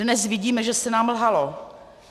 Dnes vidíme, že se nám lhalo.